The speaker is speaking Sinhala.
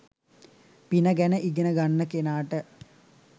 පින ගැන ඉගෙන ගන්න කෙනාට